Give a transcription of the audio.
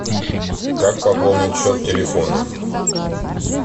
как пополнить счет телефона